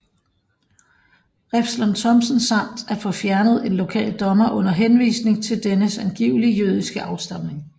Refslund Thomsen samt at få fjernet en lokal dommer under henvisning til dennes angivelige jødiske afstamning